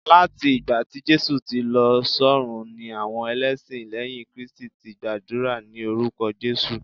lati ìgbà tí Jésù ti lọ s'ọrun ni àwọn elesin lẹyìn kristi ti gbàdúrà ni orúkọ jesu